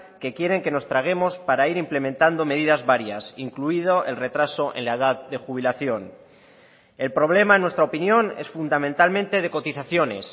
que quieren que nos traguemos para ir implementando medidas varias incluido el retraso en la edad de jubilación el problema en nuestra opinión es fundamentalmente de cotizaciones